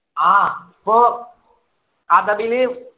ആഹ് പ്പോ അറബിയില്